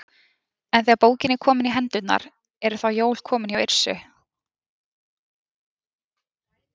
En þegar bókin er komin í hendurnar, eru þá komin jól hjá Yrsu?